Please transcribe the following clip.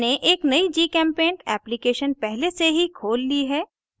मैंने एक नयी gchempaint application पहले से ही खोल ली है